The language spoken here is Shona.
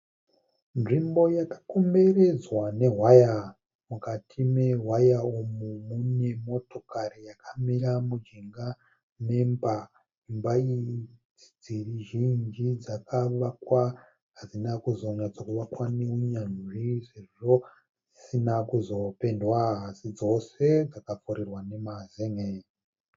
Nzvimbo yakakomberedzwa newaya. Mukati newaya umu mune motokari yakamira mujinga memba. Imba iyi nedzimwe dzimba zhinji dzakavakwa zvisina unyanzvi sezvo dzisina kuzopendwa asi dzose dzakapfirirwa emazenge.